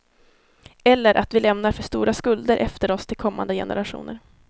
Eller att vi lämnar för stora skulder efter oss till kommande generationer.